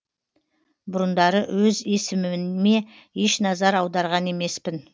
бұрындары өз есіміме еш назар аударған емеспін